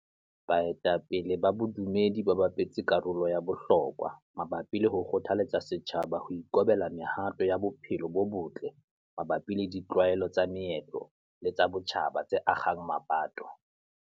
Baetapele ba bodumedi ba bapetse karolo ya bohlokwa mabapi le ho kgothaletsa setjhaba ho ikobela mehato ya bophelo bo botle mabapi le ditlwaelo tsa meetlo le tsa botjhaba tse akgang mapato.